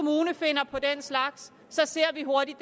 at slags ser vi hurtigt